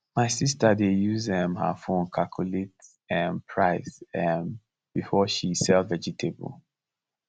my sister dey use um her phone calculate um price um before she sell vegetable